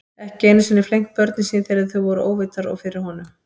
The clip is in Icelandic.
Ekki einu sinni flengt börnin sín þegar þau voru óvitar og fyrir honum.